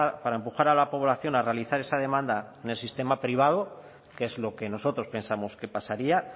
para empujar a la población a realizar esa demanda en el sistema privado que es lo que nosotros pensamos que pasaría